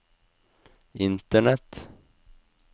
internett